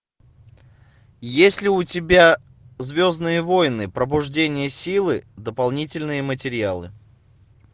есть ли у тебя звездные войны пробуждение силы дополнительные материалы